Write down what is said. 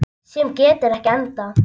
Sem getur ekki endað.